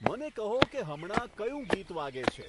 મને કહો કે હમણાં કયું ગીત વાગે છે